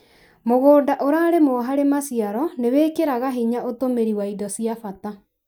Mũgũnda ũrarĩmũo harĩ maciaro nĩ wĩkĩraga hinya ũtũmĩri wa indo cia bata